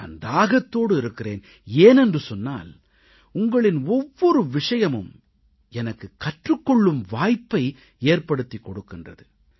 நான் தாகத்தோடு இருக்கிறேன் ஏனென்றால் உங்களின் ஒவ்வொரு விஷயமும் எனக்கு கற்றுக் கொள்ளும் வாய்ப்பை ஏற்படுத்திக் கொடுக்கின்றது